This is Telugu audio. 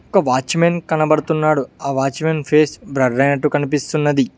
ఒక వాచ్మెన్ కనబడుతున్నాడు ఆ వాచ్మెన్ ఫేస్ బ్లర్ అయినట్టు కనిపిస్తున్నది.